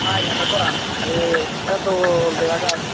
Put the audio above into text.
aa iyan dow goran ekke dol dega jay.